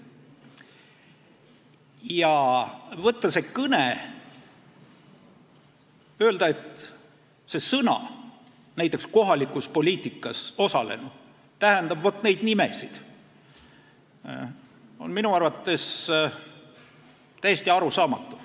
Ja kui võtta see kõne ja öelda, et need sõnad, näiteks "kohalikus poliitikas osalenud", tähendavad vot neid nimesid, siis on see minu arvates täiesti arusaamatu.